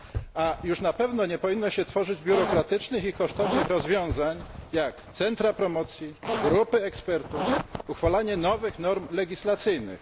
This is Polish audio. A już na pewno nie powinno się tworzyć biurokratycznych i kosztownych rozwiązań, jak centra promocji, grupy ekspertów, uchwalanie nowych norm legislacyjnych.